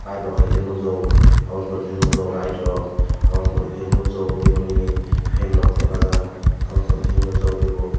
borok hai ke nug jago obo ne pore ke light rok oboni pore ke nukjago tei bo nini fan rok tepajak omo ni pore ke nukjakgo tei bo.